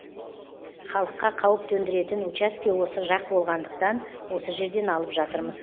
халыққа қауіп төндіретін учаске осы жақ болғандықтан осы жерден алып жатырмыз